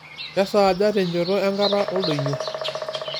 kesaaja tenchoto enkata oldonyio